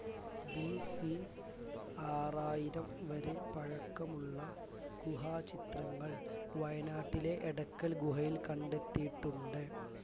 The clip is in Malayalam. BC ആറായിരം വരെ പഴക്കമുള്ള ഗുഹാചിത്രങ്ങൾ വയനാട്ടിലെ എടക്കൽ ഗുഹയിൽ കണ്ടെത്തിയിട്ടുണ്ട്